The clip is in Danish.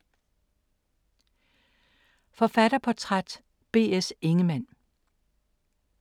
Forfatterportræt: B. S. Ingemann